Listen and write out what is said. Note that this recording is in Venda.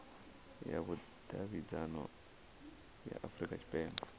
ya vhudavhidzano ya afurika tshipembe